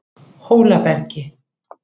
Hólabergi